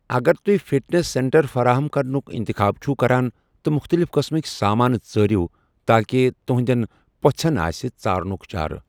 اگر تُہۍ fitness centre فراہم کرنُک اِنتِخاب چھِو کران تہٕ مختلف قٕسمٕک سامان ژارِو تاکہ تُہندٮ۪ن پوٚژھٮ۪ن آسہِ ژارنُک چارٕ۔